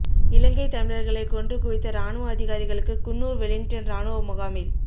இலங்கை தமிழர்களை கொன்று குவித்த ராணுவ அதிகாரிகளுக்கு குன்னூர் வெலிங்டன் ராணுவ முகாமில்